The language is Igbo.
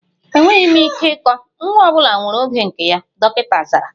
Enweghị m ike ịkọ, nwa ọ bụla nwere oge nke ya, dọkịta zara